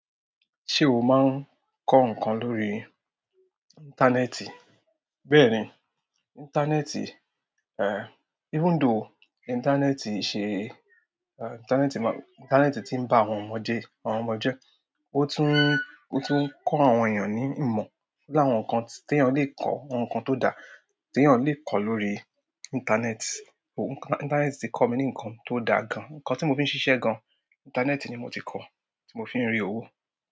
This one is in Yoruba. Ṣé o máa ń kọ ǹkan lórí. Íńtánẹ́ẹ̀tì? Bẹ́ẹ̀ni, íńtánẹ́ẹ̀tì, eh, even though íńtánẹ́ẹ̀tì se, íńtánẹ́ẹ̀tì ti n ba àwọn ọmọ je, ọ̀tún n ko àwọn eeyan ni ìmọ̀. O ni àwọn nǹkan tí èèyàn le kọ́, àwọn nǹkan tó dá tí èèyàn le kọ̀ lórí íńtánẹ́ẹ̀tì. Oh, íńtánẹ́ẹ̀tì ti kọ mí ní nǹkan tó dá gan-an. Ǹkan tí mo fi ń ṣiṣẹ́ gan-an, íńtánẹ́ẹ̀tì ni mo ti kọ́, tí mo fi ń rí owó.